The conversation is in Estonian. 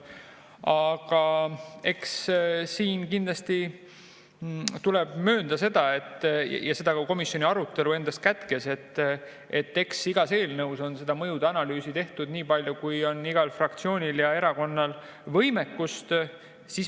Aga eks siin tuleb kindlasti möönda, ja seda ka komisjoni arutelu endas kätkes, et igas eelnõus on seda mõjude analüüsi tehtud nii palju, kui palju on fraktsioonil ja erakonnal võimekust.